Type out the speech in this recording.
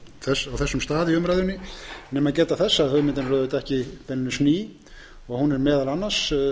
á þessum stað í umræðunni nema geta þess að hugmyndin er auðvitað ekki beinlínis ný hún er meðal annars